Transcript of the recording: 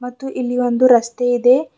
ಮತ್ತು ಇಲ್ಲಿ ಒಂದು ರಸ್ತೆ ಇದೆ.